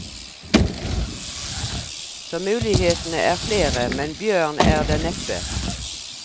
Så mulighetene er flere, men bjørn er det neppe.